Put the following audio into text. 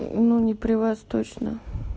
ну не при вас точно